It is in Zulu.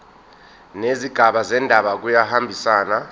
nezigaba zendaba kuyahambisana